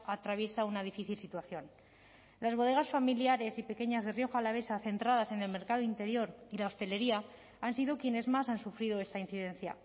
atraviesa una difícil situación las bodegas familiares y pequeñas de rioja alavesa centradas en el mercado interior y la hostelería han sido quienes más han sufrido esta incidencia